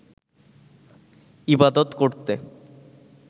ইবাদত করতে